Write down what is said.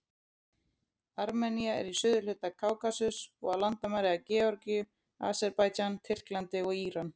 Armenía er í suðurhluta Kákasus og á landamæri að Georgíu, Aserbaídsjan, Tyrklandi og Íran.